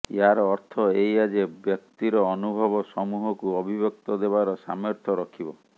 ୟାର ଅର୍ଥ ଏଇଆ ଯେ ବ୍ୟକ୍ତିର ଅନୁଭବ ସମୂହକୁ ଅଭିବ୍ୟକ୍ତି ଦେବାର ସାମର୍ଥ୍ୟ ରଖିବ